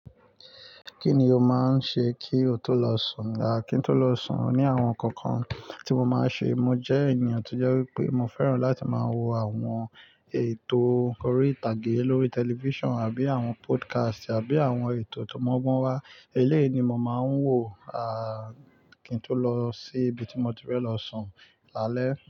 Kí ni o máa ń ṣe kí o tó lọ sùn? A, kí n tó lọ sùn, òní àwọn nǹkan kan tí mo máa ń ṣe. Mo jẹ́ ènìyàn tó jẹ́ wípé mo fẹ́ràn láti máa wo àwọn ètò orí ìtàgé lórí television àbí àwọn podcast àbí àwọn ètò tó mọ́gbọ́n wá. Eléyìí ni mo máa ń wò, à, kí n tó lọ sí ibi tí mo ti fẹ́ lọ sùn lálẹ́.